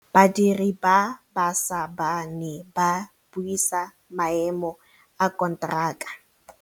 Badiri ba baša ba ne ba buisa maêmô a konteraka.